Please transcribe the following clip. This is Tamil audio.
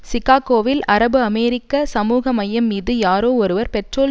சிக்காகோவில் அரபுஅமெரிக்க சமூக மையம் மீது யாரோ ஒருவர் பெட்ரோல்